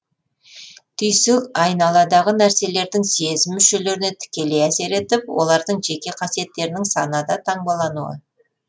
түйсік айналадағы нәрселердің сезім мүшелеріне тікелей әсер етіп олардың жеке қасиеттерінің санада таңбалануы